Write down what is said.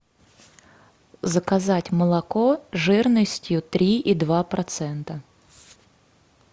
заказать молоко жирностью три и два процента